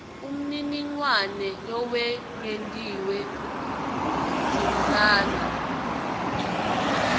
umniningwane lowengetiwe tsintsana